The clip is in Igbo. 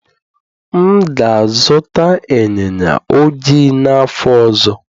M ga-azụta ịnyịnya ojii n'afọ ọzọ.